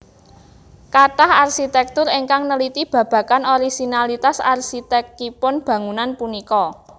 Kathah arsitektur ingkang neliti babagan orisinalitas arsitekipun bangunan punika